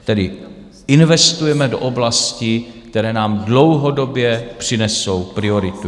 Tedy investujeme do oblastí, které nám dlouhodobě přinesou prioritu .